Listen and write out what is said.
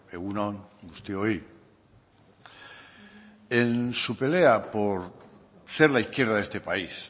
egun on guztioi en su pelea por ser la izquierda de este país